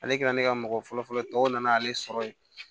Ale kɛra ne ka mɔgɔ fɔlɔfɔlɔ ye tɔw nan'ale sɔrɔ yen